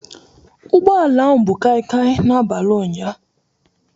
Ụgbọ ala ahụ bu kaikai n'abalị ụnyaahụ